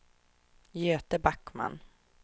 Göte Backman